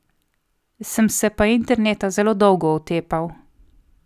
Sem se pa interneta zelo dolgo otepal.